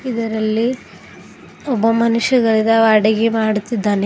ಇದರಲ್ಲಿ ಒಬ್ಬ ಮನುಷ್ಯ ಗೈದ ಅಡಿಗೆ ಮಾಡುತ್ತಿದ್ದಾನೆ.